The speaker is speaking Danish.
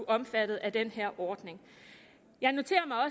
omfattet af den her ordning jeg noterer